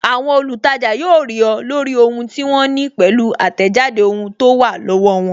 Àwọn olutaja yóò rí ọ, lórí ohun tí wọ́n ní pẹ̀lú atejade ohun tó wà lọ́wọ́ won